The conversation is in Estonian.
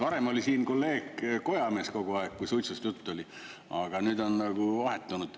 Varem oli siin kolleeg kojamees kogu aeg, kui suitsust juttu oli, aga nüüd on nagu vahetunud.